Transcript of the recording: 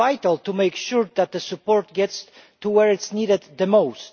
It is vital to make sure that the support gets to where it is needed most.